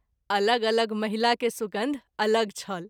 अलग अलग महिला के सुगन्ध अलग छल।